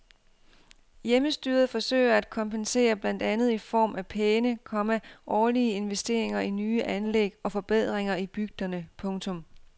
Hjemmestyret forsøger at kompensere blandt andet i form af pæne, komma årlige investeringer i nye anlæg og forbedringer i bygderne. punktum